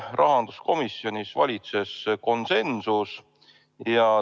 Rahanduskomisjonis valitses konsensus.